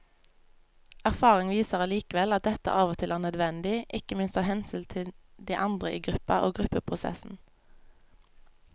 Erfaring viser allikevel at dette av og til er nødvendig, ikke minst av hensyn til de andre i gruppa og gruppeprosessen.